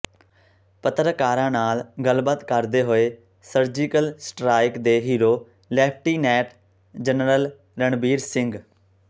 ਪੱਤਰਕਾਰਾਂ ਨਾਲ ਗੱਲਬਾਤ ਕਰਦੇ ਹੋਏ ਸਰਜੀਕਲ ਸਟਰਾਇਕ ਦੇ hero lieutenant general Ranbir Singh